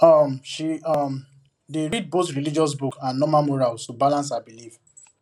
um she um dey read both religious book and normal morals to balance her belief